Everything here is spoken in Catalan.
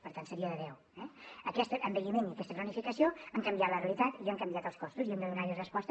per tant seria de deu eh aquest envelliment i aquesta cronificació han canviat la realitat i han canviat els costos i hem de donar hi resposta